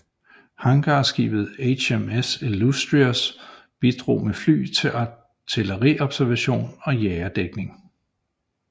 Hangarskibet HMS Illustrious bidrog med fly til artilleriobservation og jagerdækning